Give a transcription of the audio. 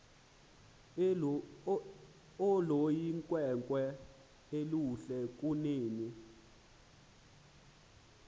oluyinkwenkwe oluhle kunene